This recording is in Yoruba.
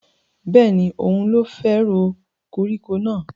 Bẹ́ẹ̀ni, òun ló fẹ́ ro koríko náà